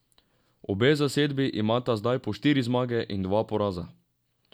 Obe zasedbi imata zdaj po štiri zmage in dva poraza.